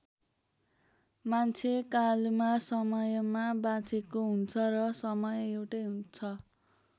मान्छे कालमा समयमा बाँचेको हुन्छ र समय एउटै छ।